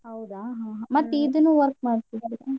ಹೌದಾ ಹಾ ಹಾ ಮತ್ ಇದನ್ನು work ಮಾಡ್ತೀರಾ?